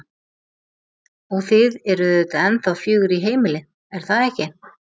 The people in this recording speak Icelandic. Og þið eruð auðvitað ennþá fjögur í heimili, er það ekki?